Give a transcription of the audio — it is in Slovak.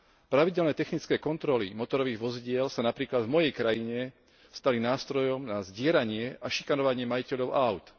Pravidelné technické kontroly motorových vozidiel sa napríklad v mojej krajine stali nástrojom na zdieranie a šikanovanie majiteľov áut.